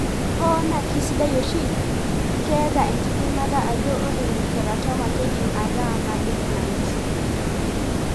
Hoo naa kisidai oshi, ketaa enkidimata ajo ore teratoma keidim ataa malignant.